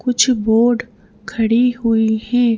कुछ बोर्ड खड़ी हुई हैं।